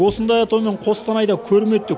осындай атаумен қостанайда көрме өтті